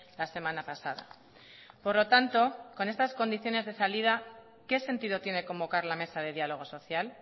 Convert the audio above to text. la semana pasada por lo tanto con estas condiciones de salida qué sentido tiene convocar la mesa de diálogo social